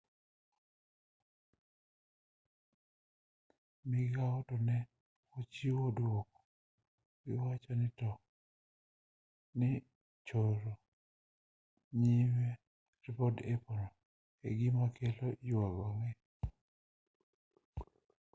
migao no ne ochiwo dwoko kagiwacho ni choro nyime ripod apple no en gima kelo yuago ang'e